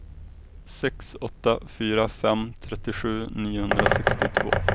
sex åtta fyra fem trettiosju niohundrasextiotvå